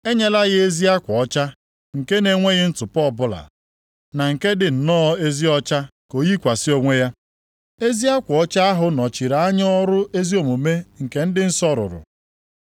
E nyela ya ezi akwa ọcha nke na-enweghị ntụpọ ọbụla, na nke dị nnọọ ezi ọcha ka o yikwasị onwe ya.” (Ezi akwa ọcha ahụ nọchiri anya ọrụ ezi omume nke ndị nsọ rụrụ.)